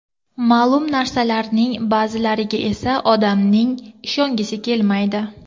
Ma’lum narsalarning ba’zilariga esa odamning ishongisi kelmaydi.